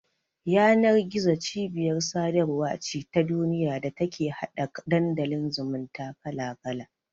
Yanar-gizo cibiyar sadarwa ce ta duniya da take hada Dandalin zumunta kala-kala.